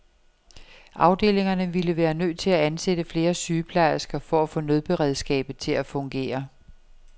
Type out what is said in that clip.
Afdelingerne ville være nødt til at ansætte flere sygeplejersker for at få nødberedskabet til at fungere.